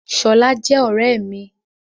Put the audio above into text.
Ṣọlá jẹ́ ọ̀rẹ́ mi.